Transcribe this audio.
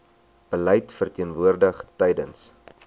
beleid verteenwoordig tewens